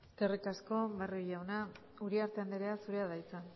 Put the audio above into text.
eskerrik asko barrio jauna uriarte andrea zurea da hitza